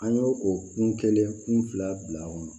An y'o o kun kelen kun fila bila a kɔnɔ